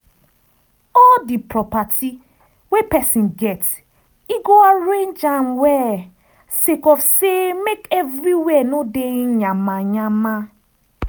all di property wey pesin get e go arrange am well sake of say make everywhere no dey yama yama